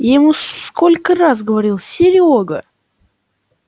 я ему сколько раз говорил серёга